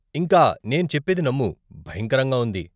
ఇంకా, నేను చెప్పేది నమ్ము, భయంకరంగా ఉంది.